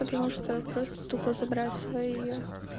потому что просто тупо забрасываю её